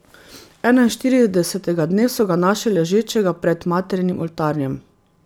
Enainštiridesetega dne so ga našli ležečega pred Materinim oltarjem.